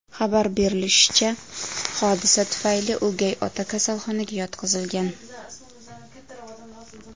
Xabar berishlaricha, hodisa tufayli o‘gay ota kasalxonaga yotqizilgan.